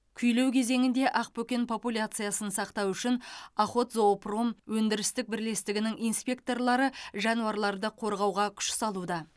күйлеу кезеңінде ақбөкен популяциясын сақтау үшін охотзоопром өндірістік бірлестігінің инспекторлары жануарларды қорғауға күш салуда